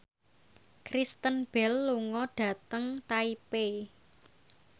Kristen Bell lunga dhateng Taipei